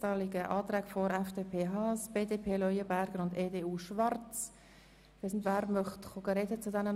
Wer möchte den Antrag der FDP, BDP und EDU erläutern?